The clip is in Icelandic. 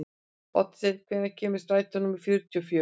Oddsteinn, hvenær kemur strætó númer fjörutíu og fjögur?